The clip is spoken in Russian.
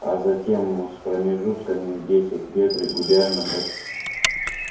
а затем с промежутками в десять лет регулярно как